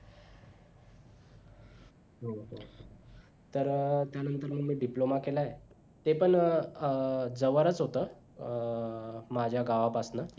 तर त्यानंतर मग मी diploma केलाय ते पण अं जवळच होत अं माझ्या गावापासनं